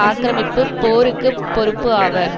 ஆக்கிரமிப்பு போருக்கு பொறுப்பு ஆவர்